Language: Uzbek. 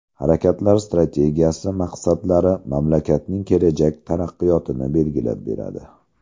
Harakatlar strategiyasi maqsadlari mamlakatning kelajak taraqqiyotini belgilab beradi.